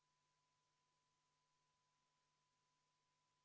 V a h e a e g Head kolleegid, vaheaeg on läbi.